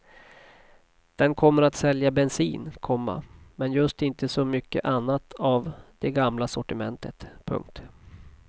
Den kommer att sälja bensin, komma men just inte så mycket annat av det gamla sortimentet. punkt